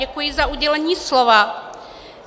Děkuji za udělení slova.